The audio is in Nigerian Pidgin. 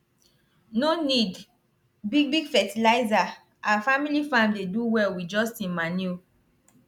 no need big big fertilizer our family farm dey do well with just him manure